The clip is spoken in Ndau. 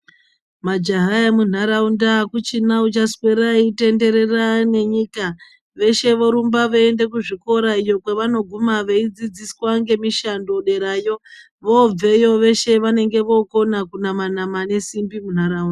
Majaha emunharaunda akuchina uchaswera eitenderera nenyika veshe vorumba veienda kuzvikora kwavanoguma veidzidziswa zvemishando derayo vobveyo veshe vanenge vokona kunama nama nesimbi munharaunda.